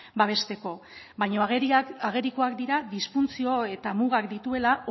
babesteko baina agerikoak dira disfuntzio eta mugak dituela